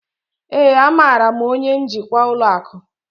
ee, amaara m onye njikwa ụlọ akụ